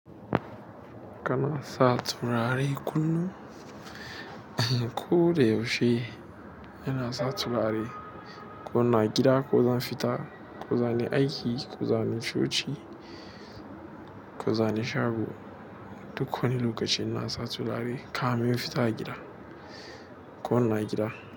Kana satura re kullun ko da yaushe ina satura re. Ko ina gida ko zan fita ko zani aiki ko zani ciki ko zani shago. Duk wani lokaci ina satura re. Kamin in fita a gida, ko in na gida.